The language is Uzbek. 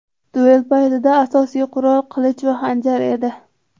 Duel paytidagi asosiy qurol qilich va xanjar edi.